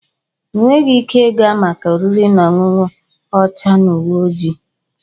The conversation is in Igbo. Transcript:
Ị nweghị ike ịga maka oriri na ọṅụṅụ ọcha na uwe ojii.